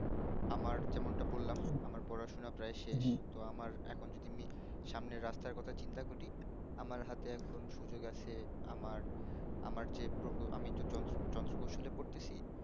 আমার যেমনটা বললাম আমার পড়াশোনা প্রায় শেষ ত আমার এখন যদি আমি সামনের রাস্তার কথা চিন্তা করি আমার হাতে এখন সুযোগ আছে আমার আমার যে প্রকুল আমি তো যন্ত্র যন্ত্রকৌশল এ পড়তেসি